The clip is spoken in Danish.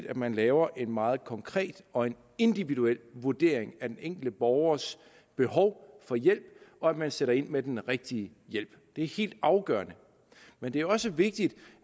at man laver en meget konkret og individuel vurdering af den enkelte borgers behov for hjælp og at man sætter ind med den rigtige hjælp det er helt afgørende men det er også vigtigt